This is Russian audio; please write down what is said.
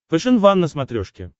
фэшен ван на смотрешке